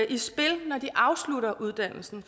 i spil når de afslutter uddannelsen